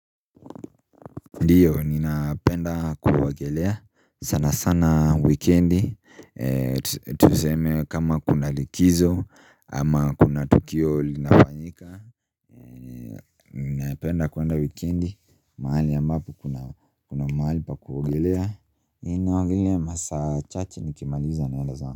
Ndio ninapenda kuogelea sana sana wikendi Ndio ninapenda kuogelea sana sana wikendi tuseme kama kuna likizo ama kuna tukio linafanyika.